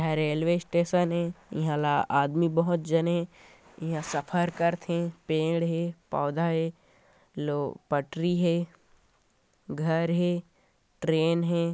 ऐ हा railway station ऐ ईहा ला आदमी बहोत झन हे ईहा सफर करथे पेड़ है पौधे हे लो पटरी हे घर हे ट्रेन हे।